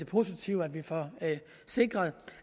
positivt at vi får sikret